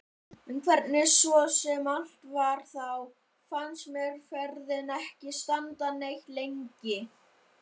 En hvernig svo sem allt var þá fannst mér ferðin ekki standa neitt lengi.